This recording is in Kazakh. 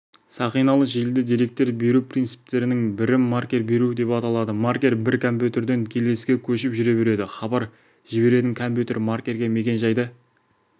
сақиналы желіде деректер беру принциптерінің бірі маркер беру деп аталады маркер бір компьютерден келесіге көшіп жүре береді хабар жіберетін компьютер маркерге мекен-жайды